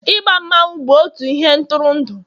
I gba mmanwu bụ otu ihe ntụrụndụ